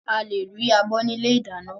Áà lè rí abọ́ ni ilé ìdáná.